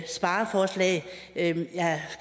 spareforslag